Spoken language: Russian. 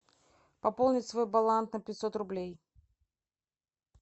пополнить свой баланс на пятьсот рублей